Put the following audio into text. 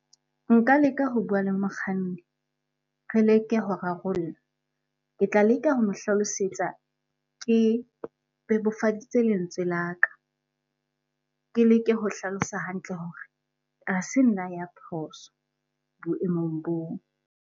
Nka leka ho bua le mokganni, re leke ho rarolla. Ke tla leka ho mo hlalosetsa ke tse bebofaditse lentswe la ka. Ke leke ho hlalosa hantle hore ha se nna ya phoso boemong boo.